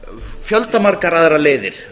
fjöldamargar aðrar leiðir